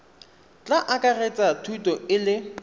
tla akaretsa thuto e le